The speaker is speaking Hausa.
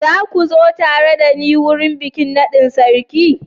Za kua zo tare da ni wurin bikin nadin sarki.